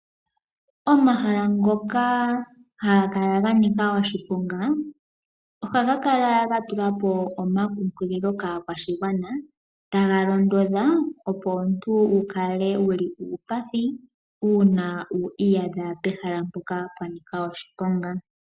Omahala ngoka haga kala ganika oshiponga oha ga kala ga tulapo oma kunkililo kaa kwashigwana. Taga londodha opo tu wukale wuli uupathi una wi iyadha pehala mpoka pwa nika oshiponga.